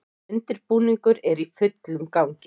Undirbúningur er í fullum gangi